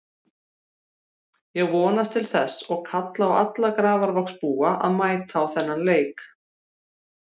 Ég vonast til þess og kalla á alla Grafarvogsbúa að mæta á þennan leik.